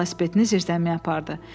O, velosipedini zirzəmiyə apardı.